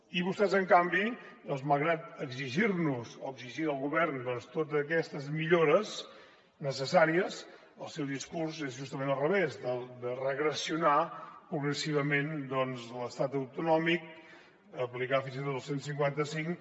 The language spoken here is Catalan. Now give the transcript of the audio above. i vostès en canvi doncs malgrat exigir nos o exigir al govern totes aquestes millores necessàries el seu discurs és justament al revés de regressionar progressivament l’estat autonòmic aplicar fins i tot el cent i cinquanta cinc